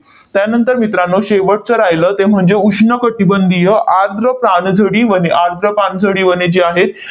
त्यानंतर मित्रांनो, शेवटचं राहिलं ते म्हणजे उष्ण कटिबंधीय आर्द्र पानझडी वने. आर्द्र पानझडी वने जी आहेत,